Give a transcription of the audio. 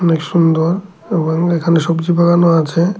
খুব সুন্দর এবং এখানে সবজি বাগানও আছে।